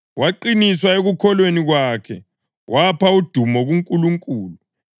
Waqiniswa ekukholweni kwakhe, wapha udumo kuNkulunkulu,